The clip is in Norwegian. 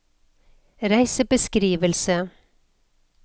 reisebeskrivelse